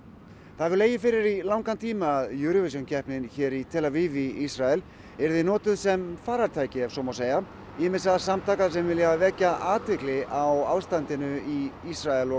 það hefur legið fyrir í langan tíma að Eurovision keppnin hér í tel Aviv í Ísrael yrði notuð sem farartæki ef svo má segja ýmissa samtaka sem vilja vekja athygli á ástandinu í Ísrael og